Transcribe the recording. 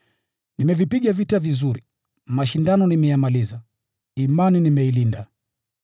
Nimevipiga vita vizuri, mashindano nimeyamaliza, imani nimeilinda.